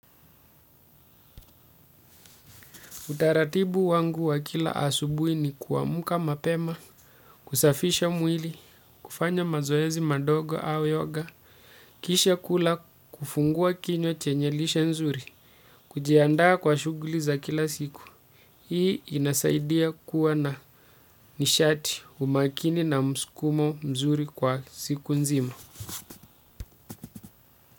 Utaratibu wangu wa kila asubuhi ni kuamka mapema, kusafisha mwili, kufanya mazoezi madogo au yoga, kisha kula kufungua kinywa chenye lishe nzuri, kujiandaa kwa shuguli za kila siku. Hii inasaidia kuwa na nishati umakini na mskumo mzuri kwa siku nzima.